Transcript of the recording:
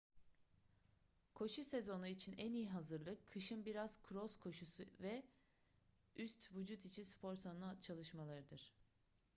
koşu sezonu için en iyi hazırlık kışın biraz kros koşusu ile üst vücut için spor salonu çalışmalarıdır